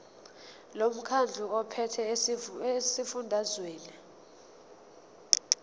lomkhandlu ophethe esifundazweni